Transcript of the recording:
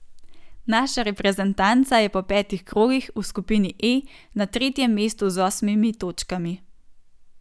Naša reprezentanca je po petih krogih v skupini E na tretjem mestu z osmimi točkami.